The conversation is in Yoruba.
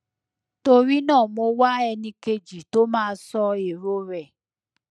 torí náà mo wá ẹni kejì tó máa sọ èrò rẹ